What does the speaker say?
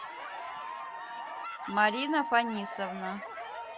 марина фанисовна